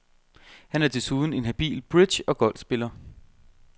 Han er desuden en habil bridge og golfspiller.